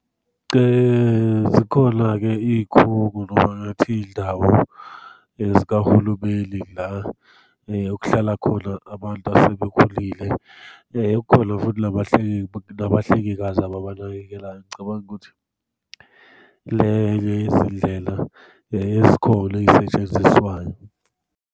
Zikhona-ke iy'khungo noma ngathi iy'ndawo zikahulumeni la okuhlala khona abantu asebekhulile, kukhona futhi nabahlengikazi ababanakekelayo. Ngicabanga ukuthi lezi ndlela ezikhona ey'setshenziswayo.